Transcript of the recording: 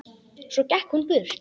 Svo gekk hún burt.